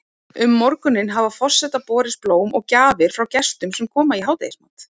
Um morguninn hafa forseta borist blóm og gjafir frá gestum sem koma í hádegismat.